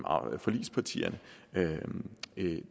forligspartierne